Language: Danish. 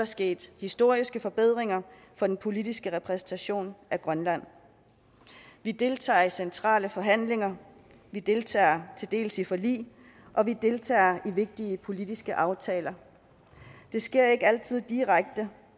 sket historiske forbedringer for den politiske repræsentation af grønland vi deltager i centrale forhandlinger vi deltager til dels i forlig og vi deltager i vigtige politiske aftaler det sker ikke altid direkte